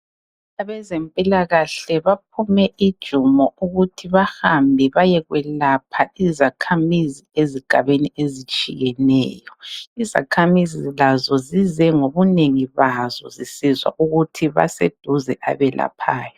Abezempilakahle baphume ijumo ukuthi bahamba bayekwelapha izakhamizi ezigabeni ezitshiyeneyo. Izakhamizi lazo zize ngobunengi bazo zisizwa ukuthi baseduze abelaphayo.